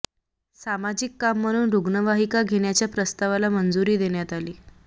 सामाजिक काम म्हणून रुग्णवाहिका घेण्याच्या प्रस्तावाला मंजुरी देण्यात आली